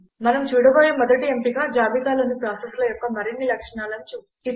మనం చూడబోయే మొదటి ఎంపిక జాబితాలోని ప్రాసెసెల యొక్క మరిన్ని లక్షణాలను చూపుతుంది